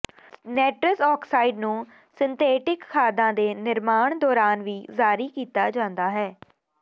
nitrous oxide ਨੂੰ synthetic ਖਾਦਾਂ ਦੇ ਨਿਰਮਾਣ ਦੌਰਾਨ ਵੀ ਜਾਰੀ ਕੀਤਾ ਜਾਂਦਾ ਹੈ